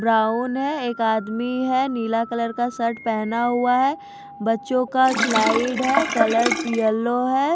Brown है एक आदमी है नीला कलर का शर्ट पहना हुआ है बच्चों का स्लाइड है कलर येलो है।